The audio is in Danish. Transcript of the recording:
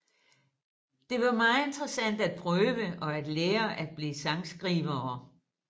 Det var meget interessant at prøve og at lære at blive sangskrivere